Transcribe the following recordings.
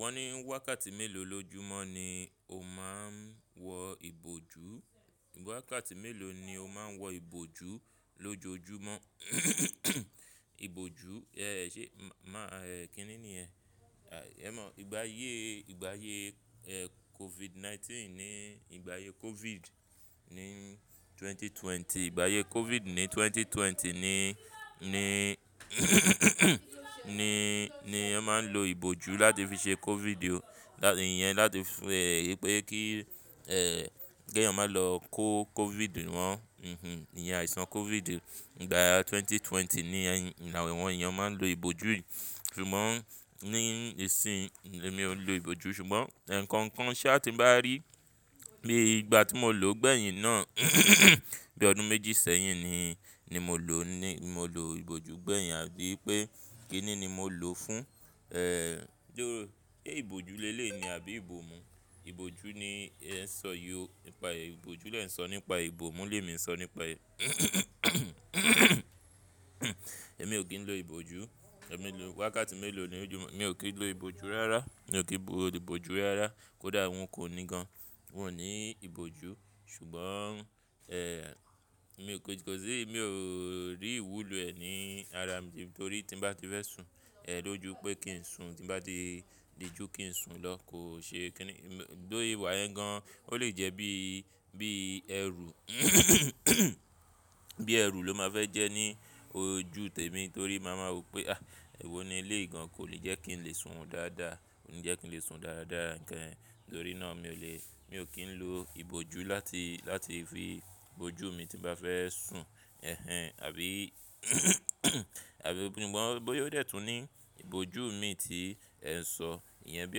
Wọ́n ní wákàtí mélòó lójúmọ́ ni o máa ń wọ ìbòjú, wákàtí mélòó ni o máa ń wọ ìbòjú lójoojúmọ́. Ìbòjú, ẹ ṣe máa, ẹ kíni ni yẹn ẹ mọ̀, ìgbà aye, ìgbà aye COVID-19 ni, ìgbà aye COVID ní 2020, ìgbà aye COVID ní 2020 ni, ni, ni, ni a máa ń lo ìbòjú láti fi ṣe COVID o. Ìyẹn láti fún ẹ pé kí ẹ, kí ẹ̀yàn máa lọ kó COVID wọ́n, ehin, ìyẹn àìsàn COVID ìgbà 2020 ni awon eeyan máa ń lo ìbòjú yìí. Ṣùgbọ́n ní ìsìn mi ò ń lo ìbòjú, ṣùgbọ́n eh, nǹkan kan ṣá ti ń bá rí bí ìgbà tí mo lò ó gbẹ̀yìn náà, bí ọdún méjì sẹ́yìn ni, ni mo lò ó ni. Mo lo ìbòjú gbẹ̀yìn àbí pé kíni ni mo lò ó fún? Eh, ṣe ìbòjú lé lé ni àbí ìbòmú? Ìbòjú ni ẹ ń sọ yí ò, nípa ìbòjú lẹ ń sọ nípa, ìbòmú lè mi ń sọ nípa ẹ. Ẹ̀mí ò kí ń lo ìbòjú, ẹ̀ me lò wákàtí mélòó ni oju, èmi ò kí ń lo ìbòjú rárá, mi ò kí ń lo ìbòjú rárá kó dà wọ́n kò ní gan. Wọn ò ní ìbòjú, ṣùgbọ́n mi ò péjú pé sì mi ò rí ìwúlò ẹ̀ ní ara mi. Nítorí tí ń bá ti fẹ́ sùn, ẹ lójo pé kí ń sùn, tí ń bá ti diju kí ń sùn ló, kò ṣe kíni. Lóde ìwà yẹn gan, ó lè jẹ́ bí, bí ẹrù. Bí ẹrù ló máa fẹ́ jẹ́ ní ojú tèmi torí màá máa wí pé "àh éwo ni eléyìí gan kò lè jẹ́ kí ń lè sùn dáadáa, kò lè jẹ́ kí ń lè sùn dáadáa nǹkan." Nítorí náà mi ò lè, mi ò kí ń lo ìbòjú láti, láti fi ìbòjú mi tí bá fẹ́ sùn, ẹhẹń. Àbí, àbí sugbon boya o dẹ̀tún ní ìbòjú mi tí ẹ ń sọ, ìyẹn bí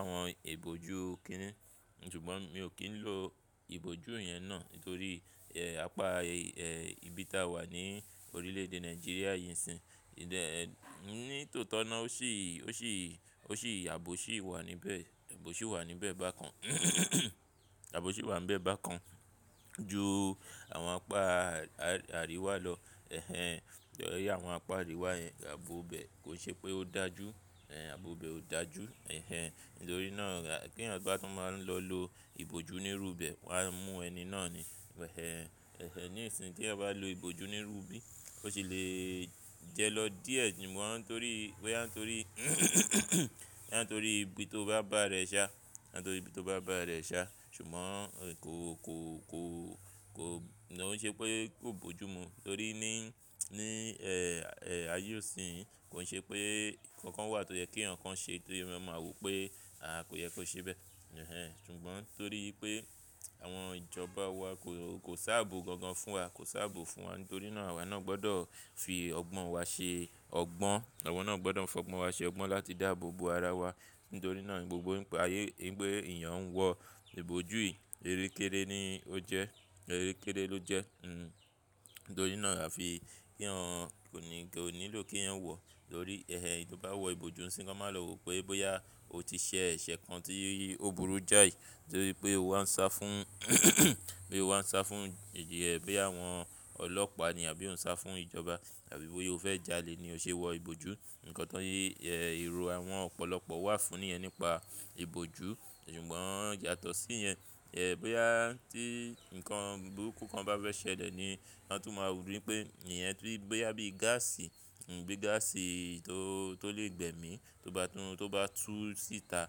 àwọn ìbòjú kíni. Ṣùgbọ́n mi ò kí ń lo ìbòjú yẹn náà nítorí apá ibi tí a wà ní orílẹ̀ èdè Nigeria yìí ńsìn. Ìdẹ ní tòótọ́ náà ó sì, ó sì, ó sì àbò ṣì wà níbẹ̀. Àbò ṣì wà níbẹ̀ bákan. Àbò ṣì wà níbẹ̀ bákan ju àwọn apá àríwá lọ. Ẹhẹń, tọ̀rí àwọn apá àríwá yẹn ààbò bẹ́ẹ̀ kò ṣe pé ó dájú, ààbò bẹ́ẹ̀ ó dájú. Ẹhẹń, nítorí náà kí ẹ̀yan bá tún máa ń lọ lo ìbòjú nírúbẹ̀, wàá mú ẹni náà ni. Ẹhẹń, ní ìsìn tí ẹ bá lo ìbòjú nírúbì, ó sì le jẹ lọ díẹ̀ ṣùgbọ́n torí boya n torí, boya torí ibi tó bá bà rẹ ṣá, boya torí ibi tó bá bà rẹ ṣá. Ṣùgbọ́n kò, kò, kò, kò, kò ṣe pé kò bójú mu. Torí ní, ní ayé òsì yìí kò ṣe pé nǹkan kan wà tó yẹ kí eyan kan ṣe tó yẹ kí ọmọ máa wí pé "àh kò yẹ kó ṣe bẹ́ẹ̀". Ẹhẹń, ṣùgbọ́n torí pé àwọn ìjọba wa kò, kò sábó gan gan fún wa, kò sábó fún wa. Nítorí náà àwa náà gbọdọ̀ fi ọgbọ́n wa ṣe ọgbọ́n, àwa náà gbọdọ̀ fọgbọ́n wa ṣe ọgbọ́n láti dàbò bo ara wa. Nítorí náà gbogbo ńpa ayé ipe ẹ̀yàn ń wọ ìbòjú yìí, erékéré ni ó jẹ́, erékéré ló jẹ́. Hmm, nítorí náà àfi kí eyan kò ní, kò nílò kí eyan wọ. Torí ẹhẹ ẹni tí ó bá wọ ìbòjú ńṣí, kan máa lò wí pé bóyá ó ti ṣe ẹ̀ṣẹ̀ kan tí ó burú jáì. Torí pé ó wá ń sá fún, pé ó wá ń sá fún ijiya ẹ bí àwọn ọlọ́pàá ni àbí ó ń sá fún ìjọba àbí bóyá ó fẹ́ jalè ni ó ṣe wọ ìbòjú. Ǹkan tán yí ero àwọn ọ̀pọ̀lọpọ̀ wà fún níyẹn nípa ìbòjú. Ṣùgbọ́n yato sí yẹn, bóyá tí ǹkan burúkú kan bá fẹ́ ṣẹlẹ̀ ni wọ́n tún máa wùn bí pé ìyẹn tó bí bóyá bí gáàsì, bí gáàsì tó, tó lè gbẹ̀mi tó bá tún, tó bá tú síta.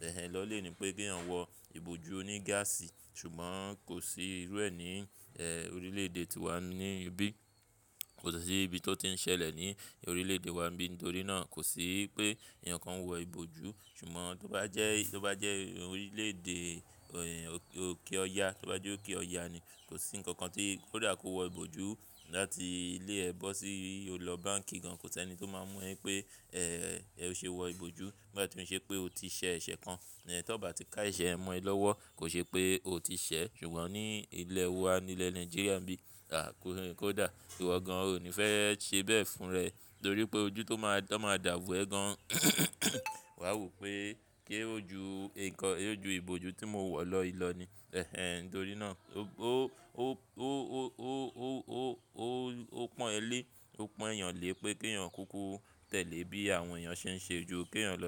Ẹhẹń lọ lèni pé kí ẹ̀yàn wọ ìbòjú oní gáàsì. Ṣùgbọ́n kò sí irú ẹ ni orílẹ̀ èdè tíwa ni ibi. Kò sì ní ibi tó ti ń ṣẹlẹ̀ ní orílẹ̀ èdè wa níbí. Nítorí náà kò sí pé ẹ̀yàn kan ń wọ ìbòjú. Ṣùgbọ́n tó bá jẹ́, tó bá jẹ́ orílẹ̀ èdè òkè ọya, tó bá jẹ́ òkè ọya ni kò sí nǹkan kan tí kò dá kó wọ ìbòjú láti ilé ẹ bọ́ sí o lọ báǹkì gan. Kò sí ẹni tí ó máa mú ẹ pé o ṣe wọ ìbòjú bá tí ń ṣe pé o ti ṣe ẹ̀ṣẹ̀ kan. Ẹ̀ tí ọba ti ká ẹ̀ṣẹ̀ mọ́ ẹ lọ́wọ́ kò ṣe pé o ti ṣẹ̀. Ṣùgbọ́n ní ilẹ̀ wa ní ilẹ̀ Nàìjíríà níbí, àh kò dà, ìwọ gan-an ò ní fẹ́ ṣe bẹ́ẹ̀ fún rẹ. Nítorí pé ojú tó máa, tó máa dàbo ẹ gan. Wa wo pé se ó ju ǹkan, ó ju ìbòjú tí mo wọ̀ lọ ilọ ni. Ẹhẹń, nítorí náà ó, ó, ó, ó, ó, ó, ó, ó, ó pọ́n ẹ́ lé, ó pọ́n ẹ̀yàn lé pé kí ẹ̀yàn kúkú tẹ̀lé bí àwọn ẹ̀yàn ṣe ń ṣe ju kí ẹ̀yàn lọ.